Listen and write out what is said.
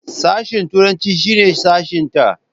Sashen turanci shine sashenta.